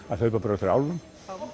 að hlaupa bara á eftir álfum